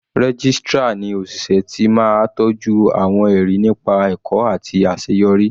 Registrar ni òṣìṣẹ́ ti máa tọjú àwọn ẹrí nípa ẹ̀kọ́ àti àṣeyọrí.